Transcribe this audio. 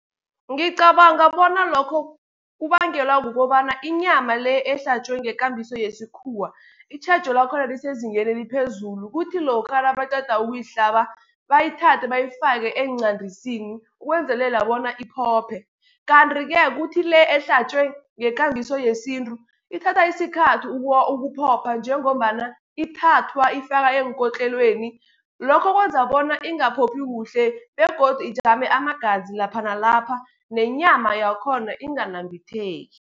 Ngicabanga bona lokho kubangelwa kukobana inyama le ehlatjwe ngekambiso yesikhuwa, itjhejo lakhona lisezingeni eliphezulu. Kuthi lokha nabaqeda ukuyihlaba bayithathe bayifake eenqandisini ukwenzelela bona iphophe. Kanti-ke kuthi le ehlatjwe ngekambiso yesintu, ithatha isikhathi ukuphopha, njengombana ithathwa ifaka eenkotlelweni. Lokho kwenza bona ingaphophi kuhle begodu ijame amagazi lapha nalapha, nenyama yakhona inganambitheki.